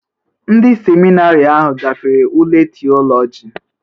Ndị seminarị ahụ gafere ule Theology?